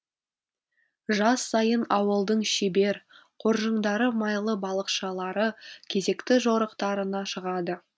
жаз сайын ауылдың шебер қоржыңдары майлы балықшылары кезекті жорықтарына шығады